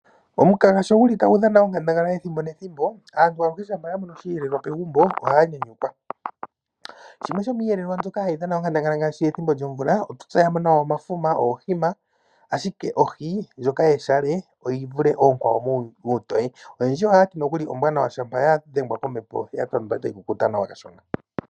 Omukaga sho nguli tagu dhana onkandangala ethimbo nethimbo aantu oyendji shampa ya mono osheelelwa pegumbo ohaya nyanyukwa. Nopethimbo lyomvula shampa ya loko ohaye etelele iiyelelwa oyindji ngaashi omafuma, oohima noohi. Ohi yeshale ontoye yi vule ookwawo muutoye, noyendji ohaya ti ombwaanawa ngele ya dhegwa kombepo ano ya tandwa etayi kukuta nawa.